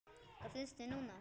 Hvað finnst þér núna?